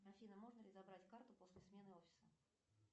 афина можно ли забрать карту после смены офиса